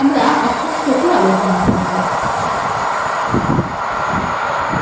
আমরা এখন সেটি আলোচনা করব